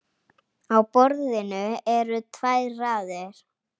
Á borðinu eru tvær raðir.